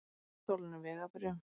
Framvísuðu stolnum vegabréfum